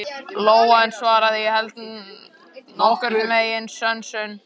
Lóa en svaraði: Ég held nokkurn veginn sönsum.